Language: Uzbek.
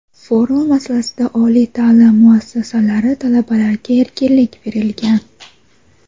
Forma masalasida oliy ta’lim muassasalari talabalariga erkinlik berilgan.